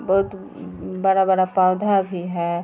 बहुत अ बड़ा-बड़ा पौधा भी है।